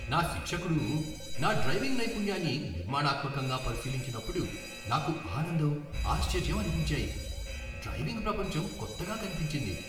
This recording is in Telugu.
నా శిక్షకుడు నా డ్రైవింగ్ నైపుణ్యాన్ని నిర్మాణాత్మకంగా పరిశీలించినప్పుడు నాకు ఆనందం, ఆశ్చర్యం అనిపించాయి. డ్రైవింగ్ ప్రపంచం కొత్తగా కనిపించింది.